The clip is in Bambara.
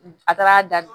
A taara da